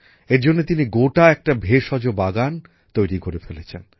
এর জন্য তিনি গোটা একটা ভেষজ বাগান তৈরী করে ফেলেছেন